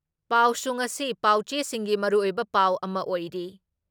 ꯄꯥꯎꯁꯨ ꯉꯁꯤ ꯄꯥꯎꯆꯦꯁꯤꯡꯒꯤ ꯃꯔꯨꯑꯣꯏꯕ ꯄꯥꯎ ꯑꯃ ꯑꯣꯏꯔꯤ ꯫